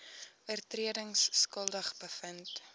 oortredings skuldig bevind